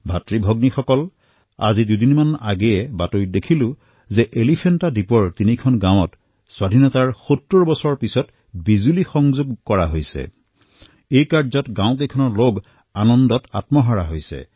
ভাতৃ আৰু ভগ্নীসকল দুদিন পূৰ্বে এক সংবাদত মই দেখিলো যে এলিফেণ্টা দ্বীপৰ তিনিখন গাঁৱত স্বাধীনতাৰ ৭০ বছৰৰ পিছত বিজুলী উপলব্ধ হল আৰু ইয়াকে লৈ গাঁওখনত হৰ্ষোল্লাসৰ সৃষ্টি হল